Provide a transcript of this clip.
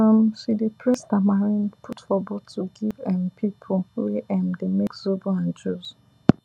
um she dey press tamarind put for bottle give um people wey um dey make zobo and juice